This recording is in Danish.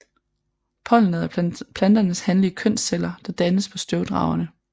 Pollenet er planternes hanlige kønsceller der dannes på støvdragerne